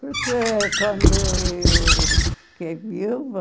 Porque quando eu e o fiquei viúva,